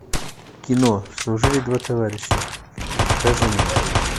кино служили два товарища покажи мне